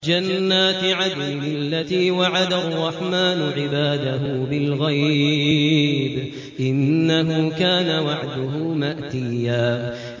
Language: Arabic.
جَنَّاتِ عَدْنٍ الَّتِي وَعَدَ الرَّحْمَٰنُ عِبَادَهُ بِالْغَيْبِ ۚ إِنَّهُ كَانَ وَعْدُهُ مَأْتِيًّا